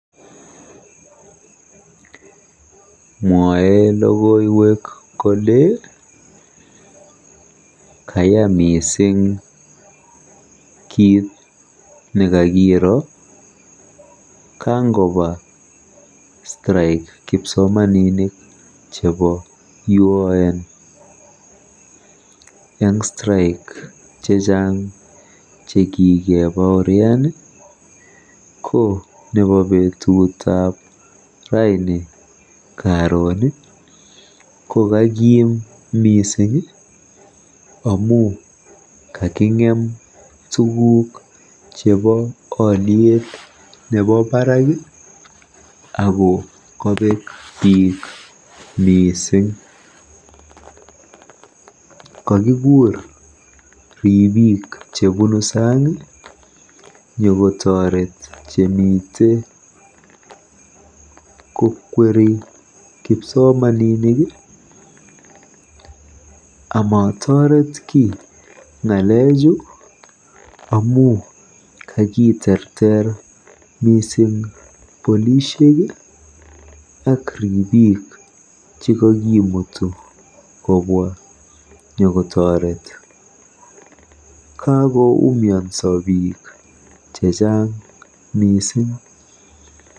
Mwoei logoiwek kole, kaya mising kiit nekakiro kangoba Strike kipsomaninik chebo UON. Eng Strike chechang chekikebaorian ko nebo betutab rani ko kakiim miising amu kaking'em tuguk chebo olyet nebo baraak ako kabeek biik mising. Kakikuur ribiik chebunu saang nyokotoret chemitei kokweri kipsomaninik amatoret kiy ng'alechu amu kakiterter polishek ak ribiik chekakimutu nyokotoret. Kakoumianso biik chechang miising.